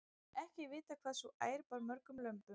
ekki er vitað hvað sú ær bar mörgum lömbum